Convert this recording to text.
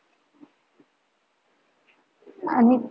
आणि